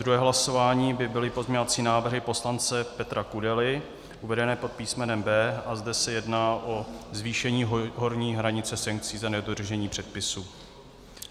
Druhé hlasování by byly pozměňovací návrhy poslance Petra Kudely uvedené pod písmenem B a zde se jedná o zvýšení horní hranice sankcí za nedodržení předpisů.